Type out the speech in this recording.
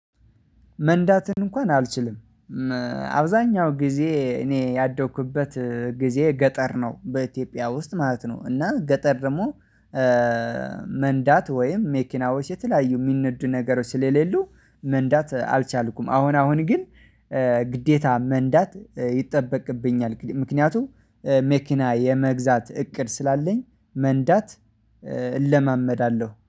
መንዳትን እንኳን አልችልም። አብዛኛው ጊዜ እኔ ያደኩበት ጊዜ ገጠር ነው በኢትዮጵያ ውስጥ ማለት ነው እና ገጠር ደግሞ መንዳት ወይም መኪናዎች የተለያዩ የሚነዱ ነገሮች ስለሌሉ መንዳት አልቻልኩም። አሁን አሁን ግን ግዴታ መንዳት ይጠበቅብኛል፤ ምክንያቱም መኪና የመግዛት እቅድ ስላለኝ መንዳት እለማመዳለሁ።